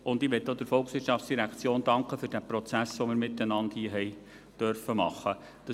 Und ich möchte auch der VOL für diesen Prozess danken, den wir hier miteinander haben machen dürfen.